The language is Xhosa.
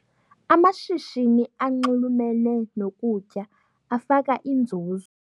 Amashishini anxulumene nokutya afaka inzuzo.